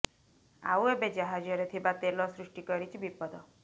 ଆଉ ଏବେ ଜାହାଜରେ ଥିବା ତେଲ ସୃଷ୍ଟି କରିଛି ବିପଦ